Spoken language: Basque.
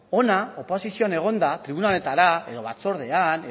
hona oposizioan egonda tribuna honetara edo batzordean